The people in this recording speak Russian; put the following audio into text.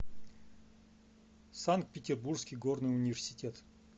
санкт петербургский горный университет